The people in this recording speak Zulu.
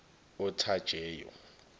othajeyo